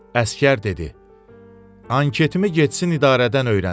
Əsgər dedi: Anketimi getsin idarədən öyrənsin.